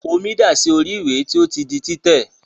Omi dà sí orí ìwé tí ó ti di títẹ̀.